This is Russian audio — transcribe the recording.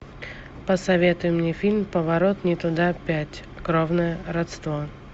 посоветуй мне фильм поворот не туда пять кровное родство